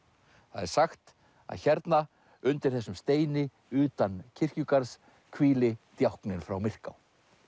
það er sagt að hérna undir þessum steini utan kirkjugarðs hvíli djákninn frá Myrká